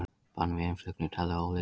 Bann við innflutningi talið ólíklegt